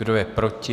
Kdo je proti?